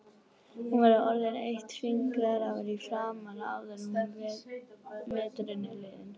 Þú verður orðin eitt fingrafar í framan áður en veturinn er liðinn